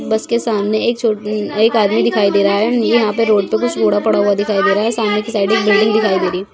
बस के सामने एक छोट-- एक आदमी दिखाई दे रहा है ये यहाँ पे रोड पे कुछ कूड़ा पड़ा हुआ दिखाई दे रहा है सामने की साइड एक बिल्डिंग दिखाई दे रही है।